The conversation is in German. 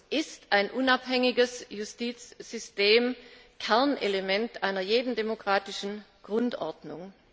Für uns ist ein unabhängiges Justizsystem Kernelement jeder demokratischen Grundordnung.